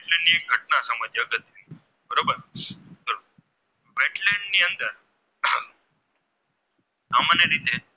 સામાન્ય રીતે